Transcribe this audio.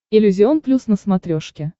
иллюзион плюс на смотрешке